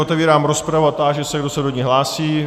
Otevírám rozpravu a táži se, kdo se do ní hlásí.